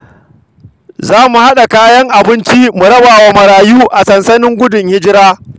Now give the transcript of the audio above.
Za mu haɗa kayan abinci mu rabawa marayu a sansanin gudun hijira.